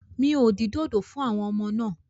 Mi ò dín dòdò fún àwọn ọmọ náà.